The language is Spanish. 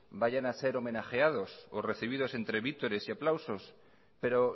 vayan a ser homenajeados o recibidos entre vítores y aplausos pero